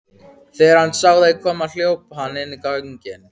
Þegar hann sá þau koma hljóp hann inn göngin.